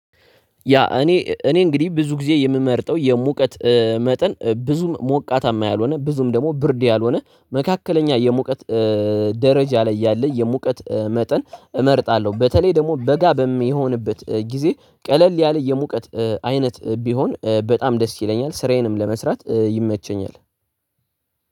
ያ እኔ እኔ እንግዲህ ብዙ ጊዜ የምመርጠው የሙቀት መጠን ብዙም ሞቃታማ ያልሆነ ብዙም ደግሞ ብርድ ያልሆነ መካከለኛ የሙቀት ደረጃ ላይ ያለ የሙቀት መጠን እመርጣለሁ በተለይ ደግሞ በጋ በሚሆንበት ጊዜ ቀለል ያለ የሙቀት አይነት ቢሆን በጣም ደስ ይለኛል ስራዬንም ለመስራት ይመቸኛል።